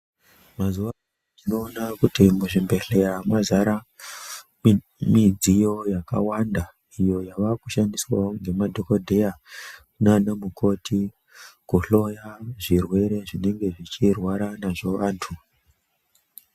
Mazuvaanano tinoona kuti muzvibhedhlera mazara midziyo yakawanda iyo yavakushandiswawo ngemadhokodheya nanamukoti kuhloya zvirwere zvinenge zvichirwara nazvo antu.